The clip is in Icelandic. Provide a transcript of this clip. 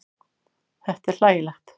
Þetta er hlægilegt.